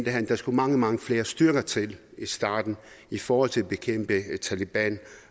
at der skulle mange mange flere styrker til i starten i forhold til at bekæmpe taleban